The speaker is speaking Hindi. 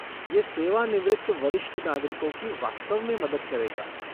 ये सेवानिवृत्त वरिष्ठ नागरिकों की वास्तव में मदद करेगा।